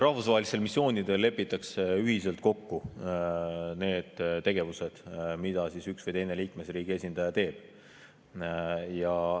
Rahvusvahelistel missioonidel lepitakse ühiselt kokku need tegevused, mida üks või teine liikmesriigi esindaja teeb.